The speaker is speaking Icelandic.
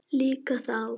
Líka þá.